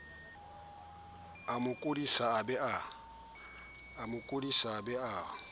amo kodisa a be a